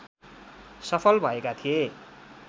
सफल भएका थिए